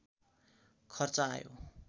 खर्च आयो